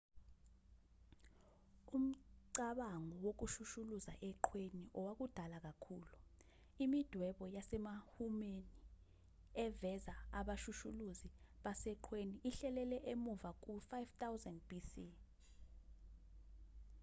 umcabango wokushushuluza eqhweni owakudala kakhulu imidwebo yasemihumeni eveza abashushuluzi baseqhweni ihlehlela emuva ku-5000 bc